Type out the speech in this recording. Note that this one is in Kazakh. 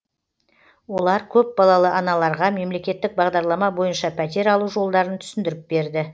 олар көп балалы аналарға мемлекеттік бағдарлама бойынша пәтер алу жолдарын түсіндіріп берді